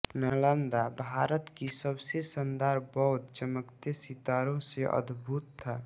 नालंदा भारत की सबसे शानदार बौद्ध चमकतेसितारों से अभिभूत था